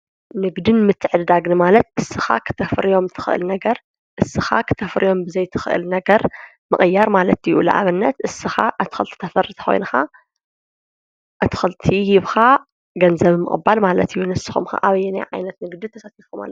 ንግድን ምትዕድዳግን ማለት እስኻ ኽተፍርእዮም ትኽእል ነገር እስኻ ኽተፍርዮም ብዘይትኽእል ነገር ምቕያር ማለት ይኡ ለዓበነት እስኻ ኣትክልቲ ተፈርት ኴይንካ ኣትክልቲ ሂብኻ ገንዘብ ምቕባል ማለት እዩንስኹም ክኣበየን ዓይነት ንግዲ ተሰቲፉምሎ